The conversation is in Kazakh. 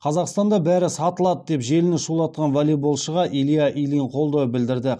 қазақстанда бәрі сатылады деп желіні шулатқан волейболшыға илья ильин қолдау білдірді